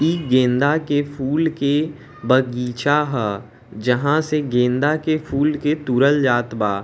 ई गेंदा के फूल के बगीचा ह जहाँ से गेंदा के फूल के तूड़ल जात बा।